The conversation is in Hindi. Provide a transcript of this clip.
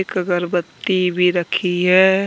कगरबत्ती भी रखी है।